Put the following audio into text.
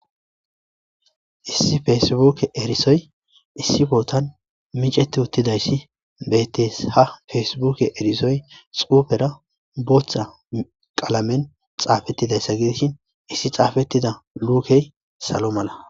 Issi feesibbuukke erisoy issi bootan micetti uttidayssi beettes. Ha feesibbuukke erisoy xuufera bootha qalameni xaafettidayssa gidishin issi xaafettida luukey salo mala.